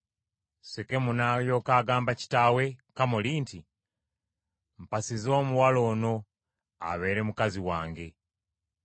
Sekemu n’alyoka agamba kitaawe Kamoli nti, “Mpasiza omuwala ono abeere mukazi wange.”